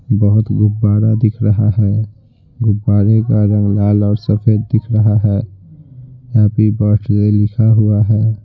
बहोत गुब्बारा दिख रहा है गुब्बारे का रंग लाल और सफ़ेद दिख रहा है हैप्पी बर्थडे लिखा हुआ है।